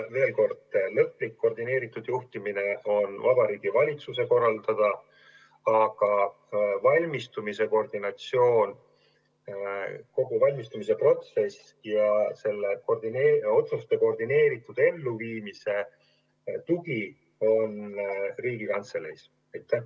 Veel kord: lõplik koordineeritud juhtimine on Vabariigi Valitsuse korraldada, aga valmistumise koordineerimine, kogu valmistumise protsess ja otsuste koordineeritud elluviimise tugi on Riigikantselei pädevuses.